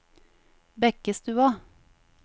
Bekkestua